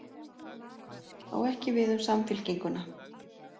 Á ekki við um Samfylkinguna